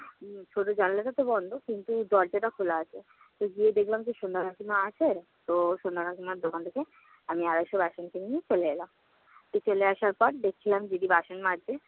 ছোট জানালাটাতো বন্ধ কিন্তু দরজাটা খোলা আছে। তো গিয়ে দেখলাম যে, সন্ধ্যা কাকিমা আছে, তো সন্ধ্যা কাকিমার দোকান থেকে আমি আড়াইশ বেসন কিনে নিয়ে চলে এলাম। চলে আসার পর দেখলাম দিদি বাসন মাজছে।